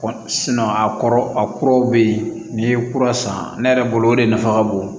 a kɔrɔ a kuraw be yen n'i ye kura san ne yɛrɛ bolo o de nafa ka bon